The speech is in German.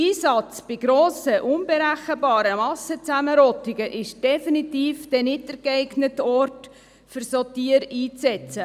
Grosse unberechenbare Massen und Zusammenrottungen sind definitiv nicht der geeignete Ort, um solche Tiere einzusetzen.